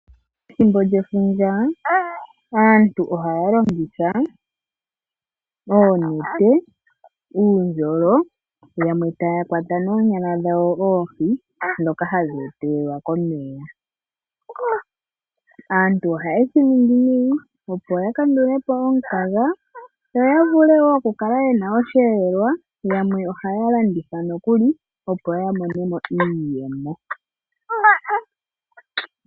Ethimbo lyefundja aantu ohaya longitha oonete, uundjolo yamwe takwata noonyala dhawo oohi dhoka hadhi etelelwa komeya. Aantu ohayedhi yulu opo ya kandulepo omukaga yoya vule wo okukala yena osheelelwa. Yamwe ohaya landitha nokuli opo yamonemo iiyemo.